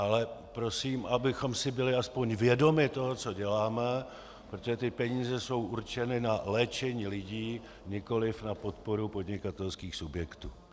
Ale prosím, abychom si byli aspoň vědomi toho, co děláme, protože ty peníze jsou určeny na léčení lidí, nikoliv na podporu podnikatelských subjektů.